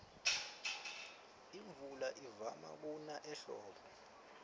imvula ivama kuna ehlobo